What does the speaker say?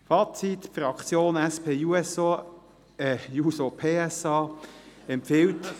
Fazit: Die Fraktion SP-USA ()… Die Fraktion SP-JUSO-PSA empfiehlt …